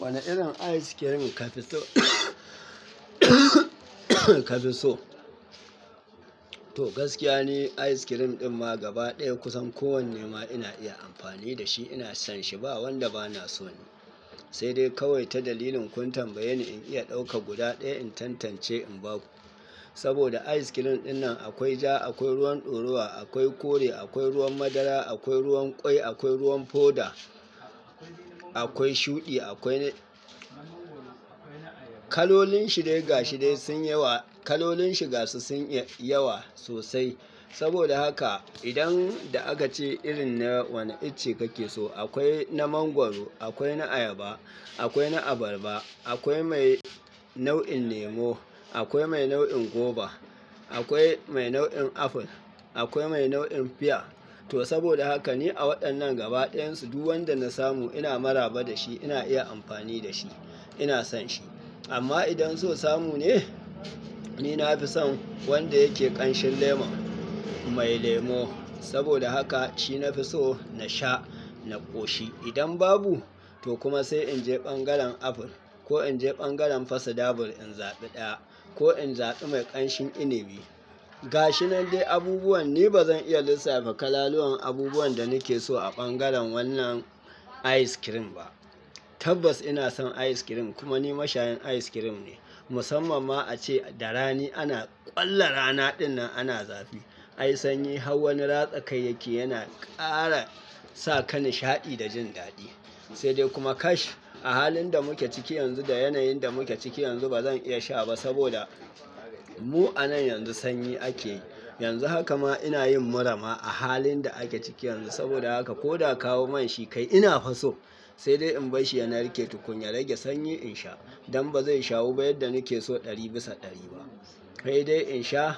Wane irin ayis kirim ka fi so? Ka fi so? To gaskiya ne ayis kirim din ma gaba ɗaya kusan kowanne ma ina iya amfani da shi, ina son shi ba wanda ba na so ni. Sai dai kawai ta dalilin kun tambaye ni in iya ɗauka guda ɗaya in tantance in ba ku. Saboda ayis kirim dinnan akwai ja, akwai ruwan ɗoruwa, akwai kore, akwai ruwan madara, akwai ruwan kwai, akwai ruwan foda, akwai shuɗi, akwai na kalolin shirye gashire sun yawa, kalolin shiga su sun yi yawa sosai. Saboda haka idan da aka ce irin na wane ice kake so, akwai na mangwaro, akwai na ayaba, akwai na abarba, akwai mai nau'in lemo, akwai mai nau'in goba, akwai mai nau'in aful, akwai mai nau'in fia. To saboda haka ne a waɗannan gaba ɗayan su duk wanda na samu ina maraba da shi, ina iya amfani da shi, ina son shi. Amma idan so samu ne, ni na fi son wanda yake ƙanshin lemo, mai lemo. Saboda haka shi na fi so na sha, na ƙoshi. Idan babu, to kuma sai in je ɓangaren aful ko in je ɓangaren fasidabur in zaɓi ɗaya ko in zaɓi mai ƙanshin inibi. Ga shi nan dai abubuwan, ni ba zan iya lissafa kalaluwan abubuwan da nike so a ɓangaren wannan ayis kirim ba. Tabbas ina son ayis kirim kuma ni mashayan ayis kirim ne. Musamman ma a ce da rani ana ƙwallon rana dinnan ana zafi. Ai sanyi har wani ratsa kai yake yana ƙara sa ka nishaɗi da jin daɗi. Sai dai kuma kash a halin da muke ciki yanzu, da yanayin da muke ciki yanzu ba zan iya sha ba saboda mu a nan yanzu sanyi ake yi. Yanzu haka ma ina yin murama a halin da ake ciki yanzu saboda haka ko da a kawo mani shi kai ina faso sai dai in bar shi yana rike tukunya rage sanyi in sha. Don ba zai shawu ba yadda nike so ɗari bisa ɗari ba. Kai dai in sha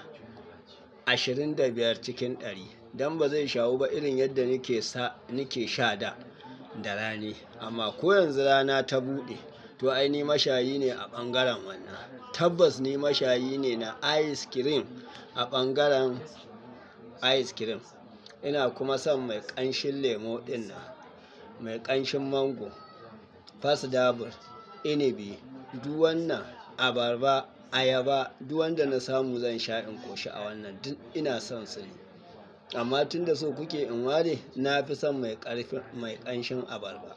ashirin da biyar cikin ɗari, don ba zai shawu ba irin yadda nike sa-- nike sha da, da rani. Amma ko yanzu rana ta buɗe, to ai ni mashayi ne a ɓangaren wannan. Tabbas ni mashayi ne na ayis kirim a ɓangaren ayis kirim. Ina kuma son mai ƙanshin lemo ɗinnan, mai ƙanshin mango, fasidabil, inibi, duk wannan abarba, ayaba, duk wanda na samu zan sha in koshi a wannan. Duk ina son su ne. Amma tun da so kuke in ware, na fi son mai ƙarfin-- mai ƙanshin abarba.